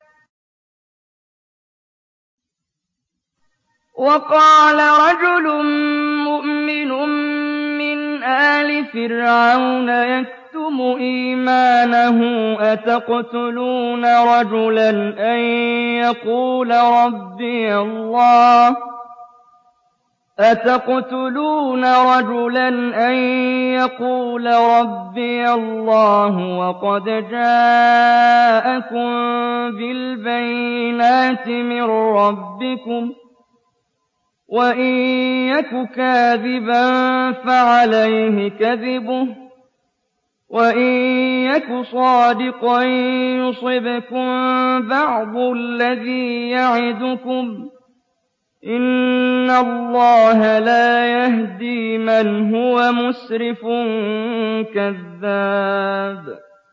وَقَالَ رَجُلٌ مُّؤْمِنٌ مِّنْ آلِ فِرْعَوْنَ يَكْتُمُ إِيمَانَهُ أَتَقْتُلُونَ رَجُلًا أَن يَقُولَ رَبِّيَ اللَّهُ وَقَدْ جَاءَكُم بِالْبَيِّنَاتِ مِن رَّبِّكُمْ ۖ وَإِن يَكُ كَاذِبًا فَعَلَيْهِ كَذِبُهُ ۖ وَإِن يَكُ صَادِقًا يُصِبْكُم بَعْضُ الَّذِي يَعِدُكُمْ ۖ إِنَّ اللَّهَ لَا يَهْدِي مَنْ هُوَ مُسْرِفٌ كَذَّابٌ